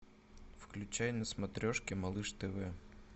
включай на смотрешке малыш тв